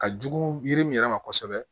Ka jugu yiri min yɛrɛ ma kosɛbɛ